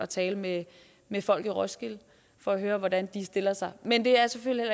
tale med med folk i roskilde for at høre hvordan de stiller sig men det er selvfølgelig